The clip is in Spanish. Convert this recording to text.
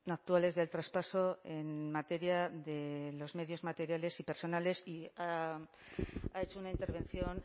actuales del traspaso en materia de los medios materiales y personales y ha hecho una intervención